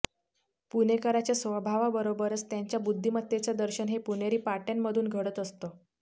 पुणेकराच्या स्वभावाबरोबरच त्यांच्या बुद्धीमत्तेचं दर्शन हे पुणेरी पाट्यांमधून घडत असतं